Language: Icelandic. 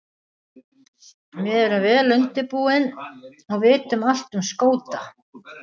Við erum vel undirbúin og vitum allt um Skota.